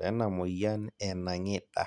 lena moyian e nang'ida